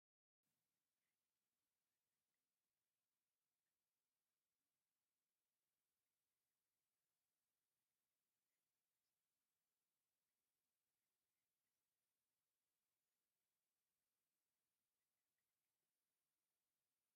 ሓደ ግመል ሓደ ዓድግን ተማሪሖም ኣብቲ ዝባን ግመል ክልተ ሰባት ኣብቲ ባን ዓድጊ ድማ ሓደ ሰብ ተሰቒሉም ኣለዉ ፡ ግን እቲ ላድጊ ሓፂር ስለዝኽነ እቲ እግሪ ናይቲ ሰብኣይ ናብ ባይታ ክነክእ ኢሉ ኣሎ ።